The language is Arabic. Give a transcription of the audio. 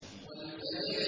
وَالْفَجْرِ